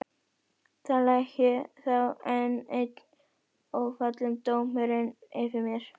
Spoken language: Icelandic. Þar lægi þá enn einn ófallinn dómurinn yfir mér.